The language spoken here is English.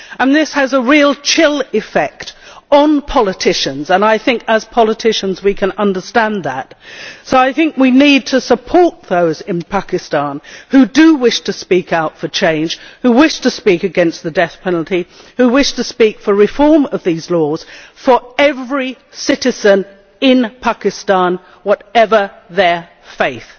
This has a real chill effect on politicians and I think, as politicians, we can understand that, so we need to support those in Pakistan who do wish to speak out for change, who wish to speak against the death penalty, who wish to speak for reform of these laws for every citizen in Pakistan, whatever their faith.